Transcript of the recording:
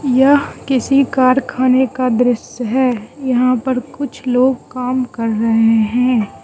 यह किसी कारखाने का दृश्य है यहां पर कुछ लोग काम कर रहे हैं।